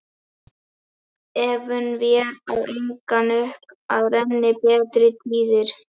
Efum vér á engan veg upp að renni betri tíðir